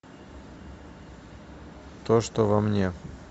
то что во мне